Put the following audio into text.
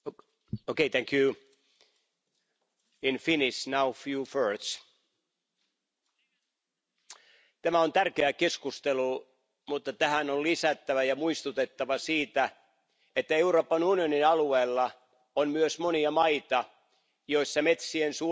Arvoisa puhemies, tämä on tärkeä keskustelu. Mutta tähän on lisättävä ja tässä on muistutettava siitä, että Euroopan unionin alueella on myös monia maita, joissa metsien suojelu, biodiversiteetin vaaliminen